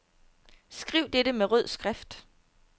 Skriv dette med rød skrift.